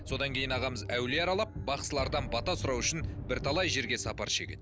содан кейін ағамыз әулие аралап бақсылардан бата сұрау үшін бірталай жерге сапар шегеді